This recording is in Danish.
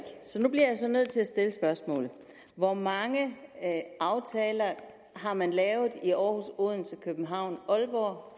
så nu bliver jeg nødt til at stille spørgsmålet hvor mange aftaler har man lavet i århus odense københavn og